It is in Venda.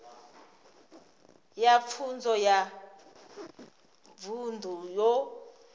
ya pfunzo ya vunḓu yo